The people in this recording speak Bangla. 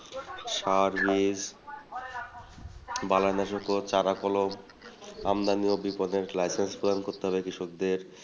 সার বীজ আমদানী ও বিপনের license প্রদান করতে হবে কৃষকদের।